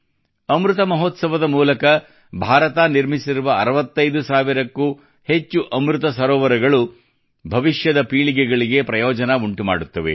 ಅಮೃತ ಮಹೋತ್ಸವ ದ ಮೂಲಕ ಭಾರತ ನಿರ್ಮಿಸಿರುವ 65 ಸಾವಿರಕ್ಕೂ ಅಧಿಕ ಅಮೃತ ಸರೋವರಗಳು ಭವಿಷ್ಯದ ಪೀಳಿಗೆಗಳಿಗೆ ಪ್ರಯೋಜನ ಉಂಟುಮಾಡುತ್ತವೆ